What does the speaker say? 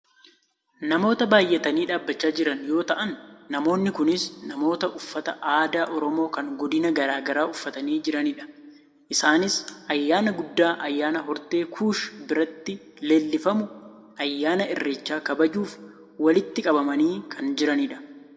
Namoota baayyatanii dhaabbachaa jiran yoo ta'an namoonni kunis namoota uffata aadaa oromoo kan godina gara garaa uffatanii jiranidha. Isaanis ayyaana guddaa, ayyaana hortee kuush biratti leellifamu ayyaana Irreecha kabajuuf walitti qabamanii kan jiranidha.